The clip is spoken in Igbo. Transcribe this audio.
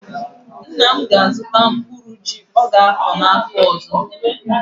Nna m ga-azụtara mkpụrụ ji ọ ga-akọ afọ ọzọ.